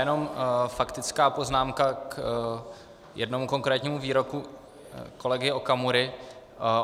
Jenom faktická poznámka k jednomu konkrétnímu výroku kolegy Okamury.